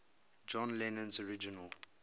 john lennon's original